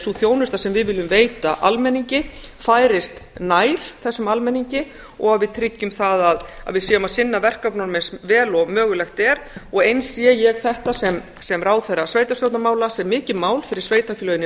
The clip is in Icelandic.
sú þjónusta sem við viljum veita almenningi færist nær þessum almenningi og við tryggjum það að við séum að sinna verkefnunum eins vel og mögulegt er og eins sé ég þetta sem ráðherra sveitarstjórnarmála sem mikið mál fyrir sveitarfélögin í